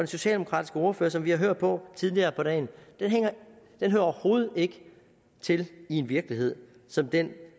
socialdemokratiske ordfører som vi har hørt på tidligere på dagen hører overhovedet ikke til i en virkelighed som den